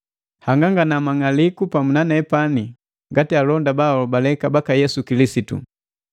Hangangana mang'aliku pamu na nepani ngati alonda bahobaleka baka Yesu Kilisitu.